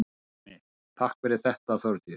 Pálmi: Takk fyrir þetta Þórdís.